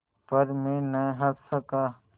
पर मैं न हँस सका